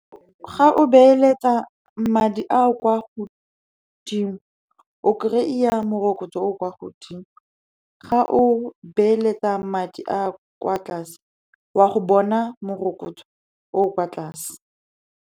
Ga o beeletsa madi a a kwa godimo, o kry-a morokotso o o kwa godimo. Ga o beeletsa madi a a kwa tlase, wa go bona morokotso o o kwa tlase.